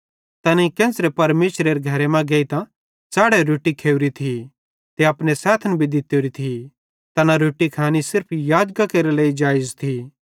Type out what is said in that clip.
तैनेईं केन्च़रे परमेशरेरे घरे मां गेइतां च़ैढ़ोरी रोट्टी खोरी थी ते अपने सैथन भी दित्तोरी थी एना रोट्टी खैनी सिर्फ याजकां केरे लेइ जेइज़ थी